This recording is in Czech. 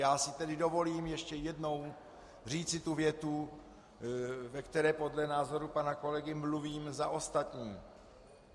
Já si tedy dovolím ještě jednou říci tu větu, ve které podle názoru pana kolegy mluvím za ostatní.